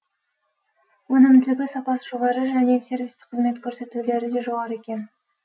өнімділігі сапасы жоғары және сервистік қызмет көрсетулері де жоғары екен